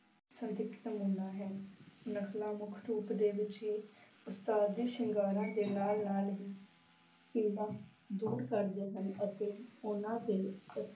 ਹੈ, ਨਕਲਾਂ ਮੁੱਖ ਰੂਪ ਦੇ ਵਿੱਚ ਹੀ ਉਸਤਾਦੀ ਸ਼ਿੰਗਾਰਾਂ ਦੇ ਨਾਲ ਨਾਲ ਹੀ ਪੀੜ੍ਹਾ ਦੂਰ ਕਰਦੇ ਹਨ ਅਤੇ ਉਹਨਾਂ ਦੇ ਅ~